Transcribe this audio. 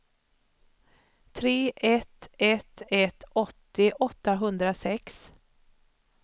tre ett ett ett åttio åttahundrasex